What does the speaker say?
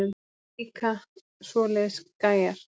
Mér líka svoleiðis gæjar.